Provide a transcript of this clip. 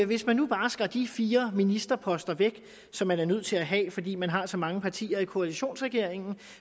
hvis man nu bare skar de fire ministerposter væk som man er nødt til at have fordi man har så mange partier i koalitionsregeringen